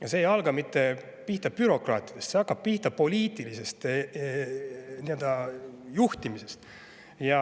Ja see ei hakka pihta bürokraatidest, vaid see hakkab pihta poliitilisest juhtimisest.